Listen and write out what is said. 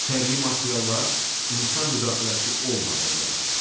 Təbii materiallar insan müdaxiləsi olmadan yaranır.